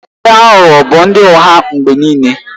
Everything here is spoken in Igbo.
Ndị aghụghọ bụ ndị ụgha mgbe niile